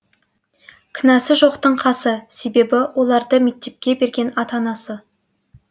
кінәсі жоқтың қасы себебі оларды мектепке берген ата анасы